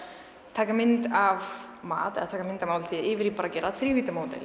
taka mynd af mat eða taka mynd af máltíð yfir í að gera